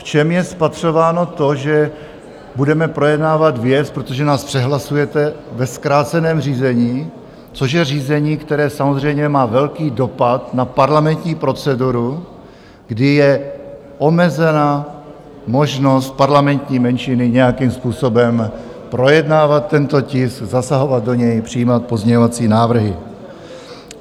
V čem je spatřováno to, že budeme projednávat věc, protože nás přehlasujete, ve zkráceném řízení, což je řízení, které samozřejmě má velký dopad na parlamentní proceduru, kdy je omezena možnost parlamentní menšiny nějakým způsobem projednávat tento tisk, zasahovat do něj, přijímat pozměňovací návrhy.